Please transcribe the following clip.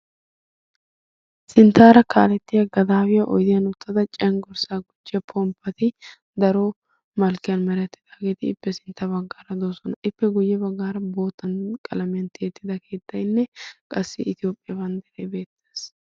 sinttaara kaalettiya gadaawiya oydiyan uttada cenggorssaa gucciya pomppati daro malkkiyan marattidaageeti ippe sintta baggaara doosona ippe guyye baggaara boottan qalameantti ettida keettaynne qassi itiyoophiyaa banddara beettaas